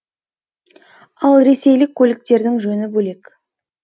ал ресейлік көліктердің жөні бөлек